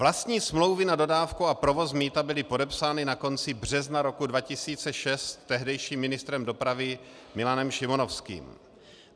Vlastní smlouvy na dodávku a provoz mýta byly podepsány na konci března roku 2006 tehdejším ministrem dopravy Milanem Šimonovským.